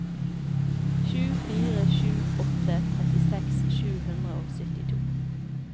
sju fire sju åtte trettiseks sju hundre og syttito